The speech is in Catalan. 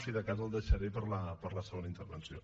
si de cas el deixaré per a la segona intervenció